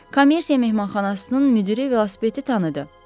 Kommersiya mehmanxanasının müdiri velosipedi tanıdı.